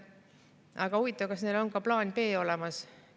Aga huvitav, kas neil on ka plaan B olemas?